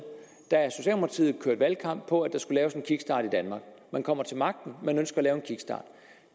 kørte socialdemokratiet valgkamp på at der skulle laves en kickstart i danmark man kommer til magten man ønsker at lave